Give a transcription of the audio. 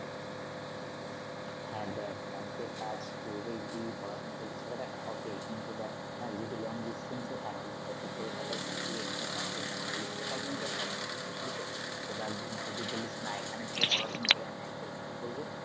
হ্যা দেখ ব্যাংকের কাজ করে যদি পড়াশুনা করবি সেটা দেখ হবে কিন্তু দেখ আর যদি long distance এ থাকিস তা তুই কলকাতায় থাকবি এখানে ব্যাংকের কাজ করলি সেটা কিন্তু হবে না বুঝলি তো এবার যদি বলিস না এখানে যদি পড়াশুনা করে আমি ব্যাংকের কাজ করব